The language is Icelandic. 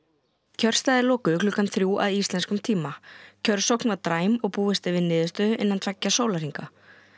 kjörstaðir lokuðu klukkan þrjú að íslenskum tíma kjörsókn var dræm og búist er við niðurstöðu innan tveggja sólarhringa